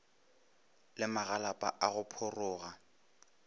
le magalapa a go pharoga